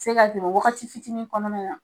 Se ka dogo wagati fitinin kɔnɔna na.